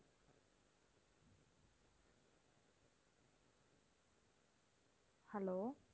hello